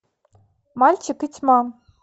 мальчик и тьма